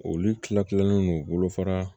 Olu kila kilalen no bolofara